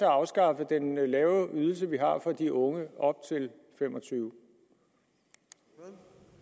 afskaffet den lave ydelse vi har for de unge op til fem og tyve år